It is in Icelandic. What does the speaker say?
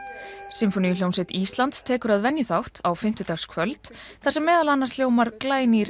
sinfóníuhljómsveit Íslands tekur að venju þátt á fimmtudagskvöld þar sem meðal annars hljómar glænýr